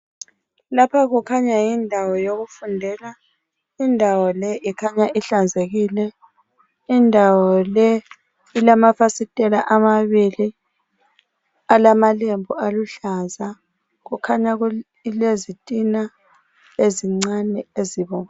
Lapha kukhanya yindawo yokufundela, indawo le ikhanya ihlanzekile. Indawo le ilamafasiteli amabili alamalembu aluhlaza. Kukhanya kulezitina ezincane ezibomvu.